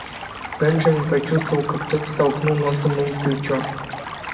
бенджамин почувствовал как кто-то толкнул носом ему в плечо